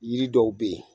Yiri dɔw be yen